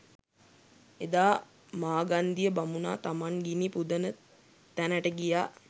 එදා මාගන්දිය බමුණා තමන් ගිනි පුදන තැනට ගියා